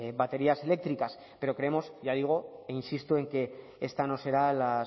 baterías eléctricas pero creemos ya digo e insisto en que esta no será la